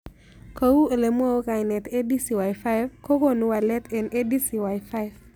Kou ole mwau kainet ADCY5 ko konu walet eng'ADCY5